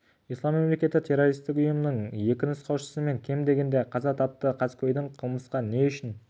ислам мемлекеті террористік ұйымының екі нұсқаушысы мен кем дегенде қаза тапты қаскөйдің қылмысқа не үшін